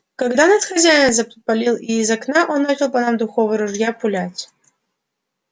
когда нас хозяин запалил и из окна по нам начал из духового ружья пулять